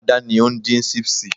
ada ni ondin sipsi